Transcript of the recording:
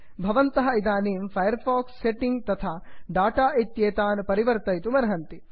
भवन्तः इदानीं Firefox setting तथा डाटा इत्येतान् परिवर्तयितुमर्हन्ति